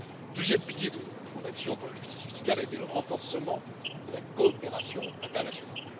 Le deuxième pilier de mon action pour la justice fiscale a été le renforcement de la coopération internationale.